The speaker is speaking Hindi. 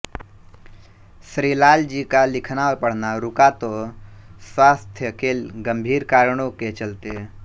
श्रीलाल जी का लिखना और पढ़ना रुका तो स्वास्थ्य के गंभीर कारणों के चलते